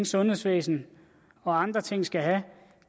sundhedsvæsenet og andre ting skal have